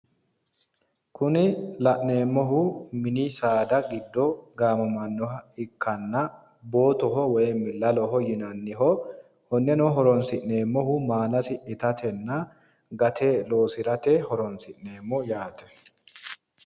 Kuni la'neemohu mini saada giddo gaamamannoha ikkana bootoho woym laloho yinanniho konneno horoonsi'neemmohu maalasi itatenna gate loosirate horoonsi'neemo yaate.